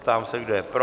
Ptám se, kdo je pro?